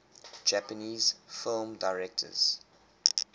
japanese film directors